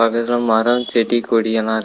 பக்கத்துல மரோ செடி கொடியெல்லா இருக்கு.